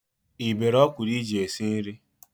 Ị bere ọkwụrụ iji esi nri?